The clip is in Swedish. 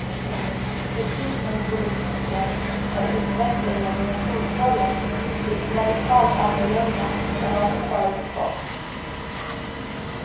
Precis som i politiken har utvecklingen inom fotbollen blivit radikalt annorlunda än vad som förutspåtts.